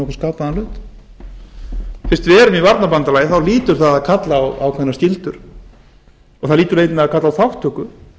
skapaðan hlut fyrst við erum í varnarbandalagi hlýtur það að kalla á ákveðnar skyldur og það hlýtur einnig að kalla á þátttöku